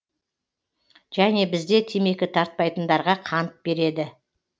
және бізде темекі тартпайтындарға қант береді